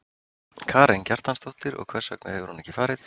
Karen Kjartansdóttir: Og hvers vegna hefur hún ekki farið?